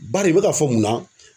Bari i bɛ ka fɔ mun na.